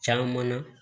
Caman na